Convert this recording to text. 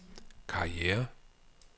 karriere